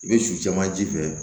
I bɛ su caman ji fɛ